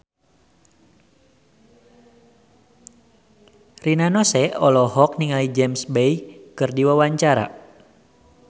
Rina Nose olohok ningali James Bay keur diwawancara